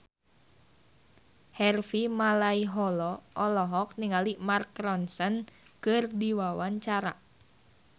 Harvey Malaiholo olohok ningali Mark Ronson keur diwawancara